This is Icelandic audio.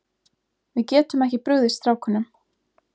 Við getum ekki brugðist strákunum.